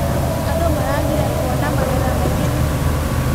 Andũ maragire kũona magetha maingĩ nĩkĩ?